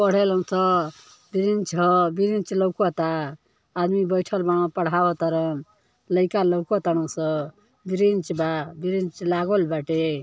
पढ़ेलस bench ह bench लौकता आदमी बैठल बान पढ़वतारन लाइका लोकत तारनसन ब्रेंच बा ब्रेंच लागल बाटे --